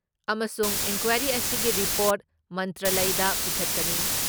ꯑꯃꯁꯨꯡ ꯏꯟꯀ꯭ꯋꯥꯔꯤ ꯑꯁꯤꯒꯤ ꯔꯤꯄꯣꯔꯠ ꯃꯟꯇ꯭ꯔꯥꯂꯌꯗ ꯄꯤꯈꯠꯀꯅꯤ ꯫